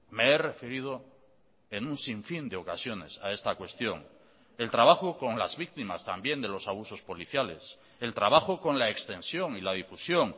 me he referido en un sinfín de ocasiones a esta cuestión el trabajo con las víctimas también de los abusos policiales el trabajo con la extensión y la difusión